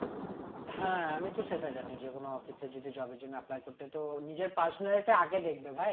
হ্যাঁ আমি তো সেটা জানি যে কোন office এ যদি job এর জন্য apply করতে তো নিজের personality টা আগে দেখবে ভাই